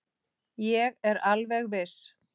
Ég er alveg viss.